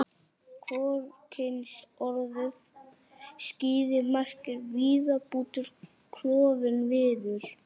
Hvorugkynsorðið skíði merkir viðarbútur, klofinn viður.